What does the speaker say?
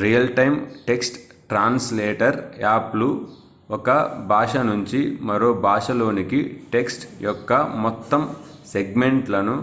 real time text translator app లు ఒక భాష నుంచి మరో భాషలోనికి టెక్ట్స్ యొక్క మొత్తం సెగ్మెంట్ లను